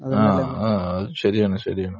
ആഹ്. ആഹ്. അത് ശരിയാണ്. ശരിയാണ്.